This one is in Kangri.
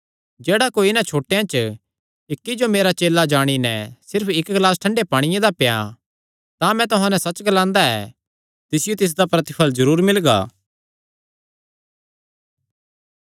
जेह्ड़ा कोई इन्हां छोटेयां च इक्की जो मेरा चेला जाणी नैं सिर्फ इक्क ग्लास ठंडा पांणिये दा पियां तां मैं तुहां नैं सच्च ग्लांदा ऐ तिसियो तिसदा प्रतिफल़ जरूर मिलगा